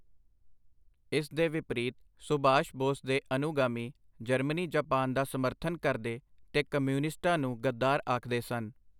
ਇਸ ਦੇ ਵਿਪਰੀਤ ਸੁਭਾਸ਼ ਬੋਸ ਦੇ ਅਨੁਗਾਮੀਂ ਜਰਮਨੀ-ਜਾਪਾਨ ਦਾ ਸਮਰਥਨ ਕਰਦੇ ਤੇ ਕਮਿਊਨਿਸਟਾਂ ਨੂੰ ਗਦਾਰ ਆਖਦੇ ਸਨ.